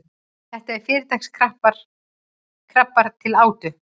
þetta eru fyrirtaks krabbar til átu